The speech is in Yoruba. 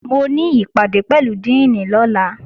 Mo ní ìpàdé pẹ̀lú díìnì lọ́la